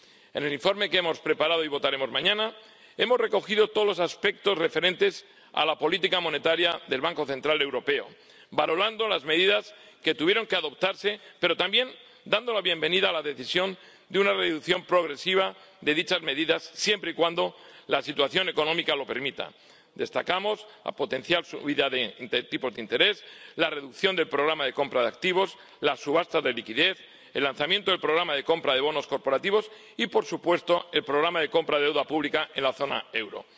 En el informe que hemos preparado y votaremos mañana hemos recogido todos los aspectos referentes a la política monetaria del Banco Central Europeo, valorando las medidas que tuvieron que adoptarse, pero también dando la bienvenida a la decisión de una reducción progresiva de dichas medidas, siempre y cuando la situación económica lo permita. Destacamos la potencial subida de tipos de interés, la reducción del programa de compra de activos, las subastas de liquidez, el lanzamiento del programa de compra de bonos corporativos y, por supuesto, el programa de compra de deuda pública en la zona euro.